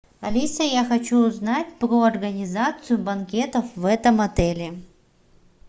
алиса я хочу узнать про организацию банкетов в этом отеле